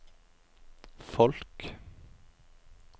folk